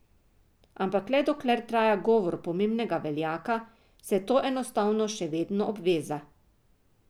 Ampak le dokler traja govor pomembnega veljaka, saj je to enostavno še vedno obveza.